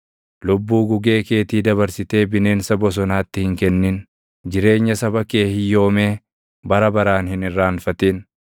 Lubbuu gugee keetii dabarsitee bineensa bosonaatti hin kennin; jireenya saba kee hiyyoomee bara baraan hin irraanfatin.